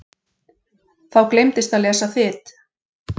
Þá gleymdist að lesa Þyt.